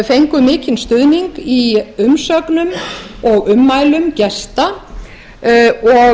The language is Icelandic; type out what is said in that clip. fengu mikinn stuðning í umsögnum og ummælum og